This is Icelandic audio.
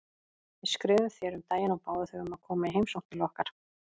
Við skrifuðum þér um daginn og báðum þig um að koma í heimsókn til okkar.